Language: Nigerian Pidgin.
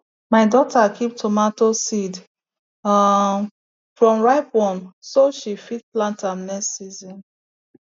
my daughter keep tomato seed um from ripe one so she fit plant am next season